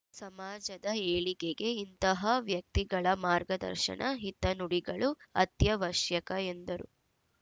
ಸಮಾಜದ ಏಳಿಗೆಗೆ ಇಂತಹ ವ್ಯಕ್ತಿಗಳ ಮಾರ್ಗದರ್ಶನ ಹಿತನುಡಿಗಳು ಅತ್ಯವಶ್ಯಕ ಎಂದರು